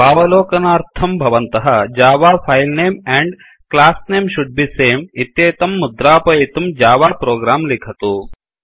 स्वावलोकनार्थं भवन्तः Java file name and class name should be same इत्येतं मुद्रापयितुं जावा प्रोग्राम लिखतु